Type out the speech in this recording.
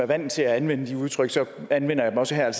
vant til at anvende de udtryk anvender jeg dem også her